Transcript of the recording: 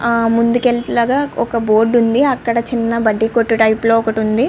అ ముందుకెళ్తా లాగా ఒక బోర్డు ఉంది అక్కద చిన్న బాధికోటు టైప్ లో ఒక్కటి ఉంది.